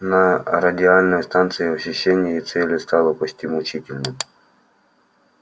на радиальной станции ощущение цели стало почти мучительным